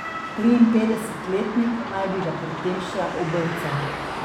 Triinpetdesetletnik naj bi ga pri tem še obrcal.